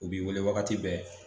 U b'i wele wagati bɛɛ